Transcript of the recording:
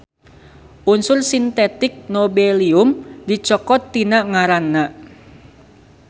Unsur sintetik Nobelium dicokot tina ngaranna.